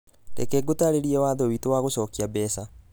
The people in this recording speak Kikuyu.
Reke ngũtaarĩrie watho witũ wa gũcokia mbeca